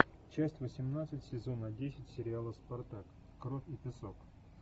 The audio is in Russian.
часть восемнадцать сезона десять сериала спартак кровь и песок